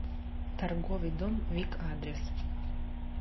торговый дом вик адрес